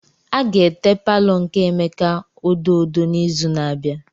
A ga-ete palọ nke Emeka odo odo n'izu na-abịa.